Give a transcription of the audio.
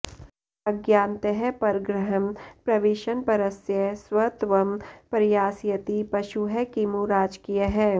अज्ञानतः परगृहं प्रविशन्परस्य स्वत्वं प्रयास्यति पशुः किमु राजकीयः